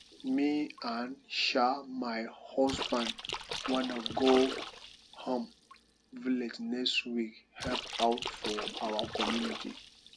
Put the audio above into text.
me and um my husband wan go um village next week help out for our community